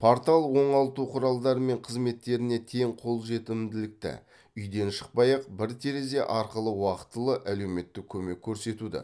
портал оңалту құралдары мен қызметтеріне тең қолжетімділікті үйден шықпай ақ бір терезе арқылы уақытылы әлеуметтік көмек көрсетуді